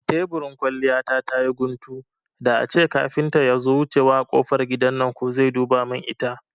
Teburin kwalliya ta tayi guntu, da ace kafinta yazo wucewa a kofar gidan nan ko zai duba mun ita